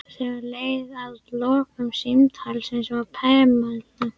Þegar leið að lokum símtalsins var Pamela